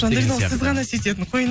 жандаурен ол сіз ғана сөйтетін